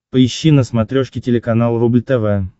поищи на смотрешке телеканал рубль тв